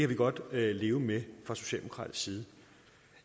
vi godt leve med fra socialdemokratisk side